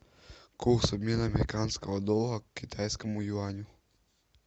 курс обмена американского доллара к китайскому юаню